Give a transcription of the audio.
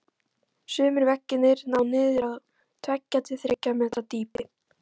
Sumir veggirnir ná niður á tveggja til þriggja metra dýpi.